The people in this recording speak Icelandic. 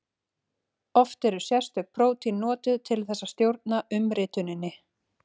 Oft eru sérstök prótín notuð til þess að stjórna umrituninni.